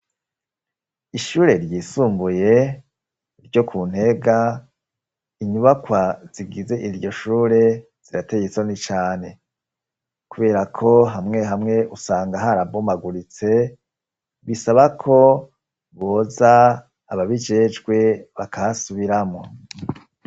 Ishure ryisumbuye ryo ku Ntega inyubakwa zigize iryo shure zirateye isoni cane. Kubera ko hamwe hamwe usanga harabomaguritse, bisaba ko boza ababijejwe bakasubiramwo.